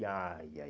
Ih, ai, ai.